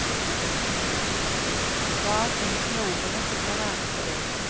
Var han flink med ordene, fikk han ære for det.